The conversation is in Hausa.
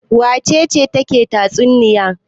Wace ce take tatsuniya?